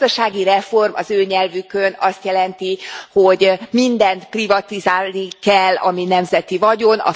A gazdasági reform az ő nyelvükön azt jelenti, hogy mindent privatizálni kell, ami nemzeti vagyon.